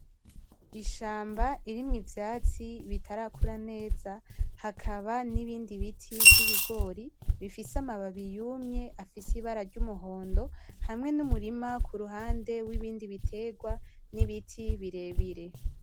Ishamba ririmwo ivyatsi bitarakura neza hakaba n'ibindi biti vy'ibigori bifise amababi yumye afise Ibara ry'umuhondo, hamwe n'umurima Ku ruhande w'ibindi biterwa n'ibiti birebire.